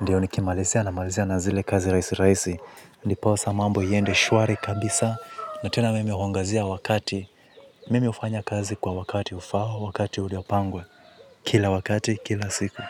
ndiyo nikimalizia namalizia na zile kazi raisi raisi, ndiposa mambo hiyende shwari kabisa na tena mimi huangazia wakati, mimi ufanya kazi kwa wakati ufaho, wakati uliopangwa, kila wakati, kila siku.